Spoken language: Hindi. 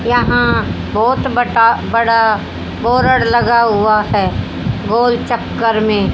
यहां बहोत बटा बड़ा बोरड लगा हुआ है गोल चक्कर में।